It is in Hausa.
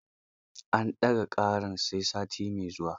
An ɗaga ƙarar sai sati mai zuwa.